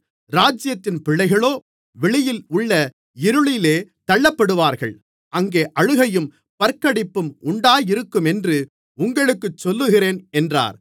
ராஜ்யத்தின் பிள்ளைகளோ வெளியில் உள்ள இருளிலே தள்ளப்படுவார்கள் அங்கே அழுகையும் பற்கடிப்பும் உண்டாயிருக்குமென்று உங்களுக்குச் சொல்லுகிறேன் என்றார்